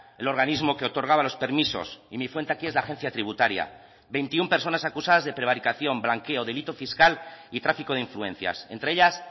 el organismo que otorgaba los permisos y mi fuente aquí es la agencia tributaria veintiuno personas acusadas de prevaricación blanqueo delito fiscal y tráfico de influencias entre ellas